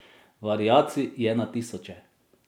Variacij je na tisoče.